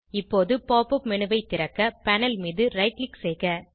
இப்போது pop up menu ஐ திறக்க பேனல் மீது ரைட் க்ளிக் செய்க